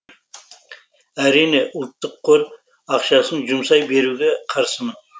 әрине ұлттық қор ақшасын жұмсай беруге қарсымын